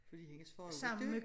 Fordi hendes far var død